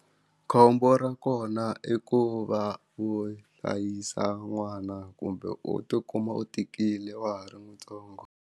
Khombo ra kona i ku va wu a hlayisa n'wana kumbe u ti kuma u tikile wa ha ri ntsongo.